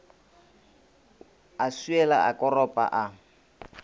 a swiela a koropa a